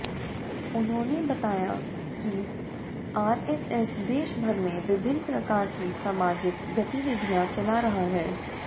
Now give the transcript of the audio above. उन्होंने बताया कि आरएसएस देश भर में विभिन्न प्रकार की सामाजिक गतिविधियां चला रहा है